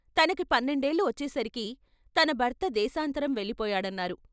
తనకి పన్నెండేళ్ళు వచ్చేసరికి తన భర్త దేశాంతరం వెళ్ళిపోయాడన్నారు.